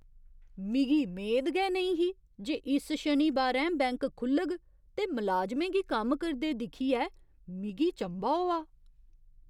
मिगी मेद गै नेईं ही जे इस शनिबारैं बैंक खु 'ल्लग ते मलाजमें गी कम्म करदे दिक्खियै मिगी चंभा होआ।